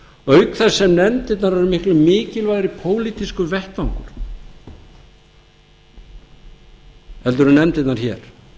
auk þess sem nefndirnar eru miklu mikilvægari pólitískur vettvangur en nefndirnar hér